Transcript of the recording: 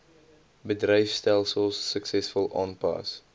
bedryfstelsels suksesvol aanpas